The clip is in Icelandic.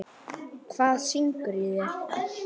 Hvað syngur í þér?